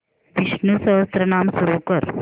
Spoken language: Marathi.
विष्णु सहस्त्रनाम सुरू कर